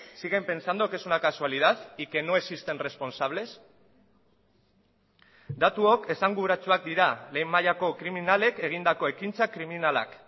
siguen pensando que es una casualidad y que no existen responsables datuok esanguratsuak dira lehen mailako kriminalek egindako ekintza kriminalak